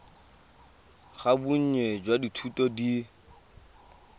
ga bonnye jwa dithuto di